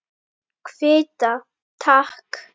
Kvitta, takk!